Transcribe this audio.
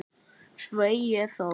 Sveik ég þá?